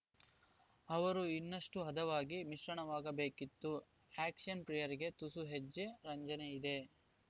ಅವರು ಇನ್ನಷ್ಟುಹದವಾಗಿ ಮಿಶ್ರಣವಾಗಬೇಕಿತ್ತು ಆ್ಯಕ್ಷನ್‌ ಪ್ರಿಯರಿಗೆ ತುಸು ಹೆಚ್ಚೇ ರಂಜನೆಯಿದೆ